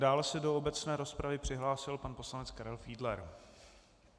Dále se do obecné rozpravy přihlásil pan poslanec Karel Fiedler.